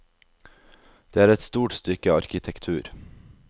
Det er et stort stykke arkitektur.